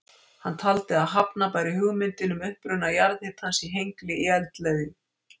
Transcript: Hann taldi að hafna bæri hugmyndinni um uppruna jarðhitans í Hengli í eldleðju.